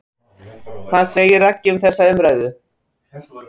Hvað segir Raggi um þessa umræðu?